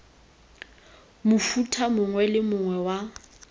mofuta mongwe le mongwe wa